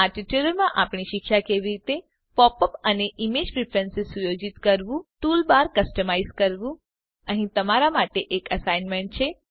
આ ટ્યુટોરીયલમાં આપણે શીખ્યા કે કેવી રીતે પોપ અપ અને ઈમેજ પ્રીફ્રેન્સીઝ સુયોજિત કરવું ટૂલબાર કસ્ટમાઈઝ કરવું અહીં તમારા માટે એક એસાઈનમેંટ છે